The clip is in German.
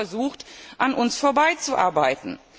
Sie haben versucht, an uns vorbeizuarbeiten.